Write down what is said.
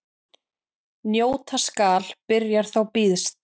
Njóta skal byrjar þá býðst.